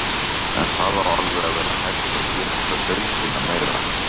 En það á alveg að vera hægt að þétta deildina meira.